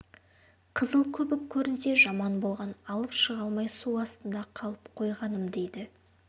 қызыл көбік көрінсе жаман болғаны алып шыға алмай су астында қалып қойғаным дейді